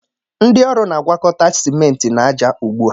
Ndị ọrụ na-agwakọta simenti na ájá ugbu a